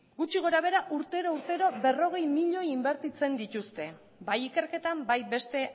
gutxi gora behera urtero urtero berrogei milioi inbertitzen dituzte bai ikerketan bai beste